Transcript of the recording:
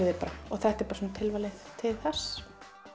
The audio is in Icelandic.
þig bara og þetta er tilvalið til þess